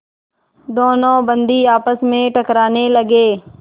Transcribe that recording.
दोनों बंदी आपस में टकराने लगे